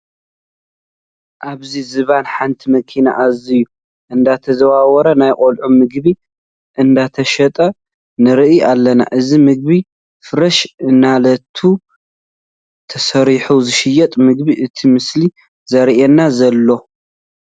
ኣብ ዝባን ሓንቲ መኪና ኣሱዝ እንዳተዛወሩ ናይ ቆልዑ ምግቢ እንትሸጡ ንርኢ ኣለና። እዚ ምግቢ ፍረሽ ንእለቱ ተሰሪሑ ዝሽየጥ ምግቢ እቲ ምስሊ ዘርእየና ዘሎ።